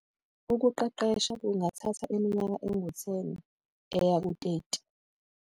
Ukuqeqesha kungathatha iminyaka engu-10 eya ku-30.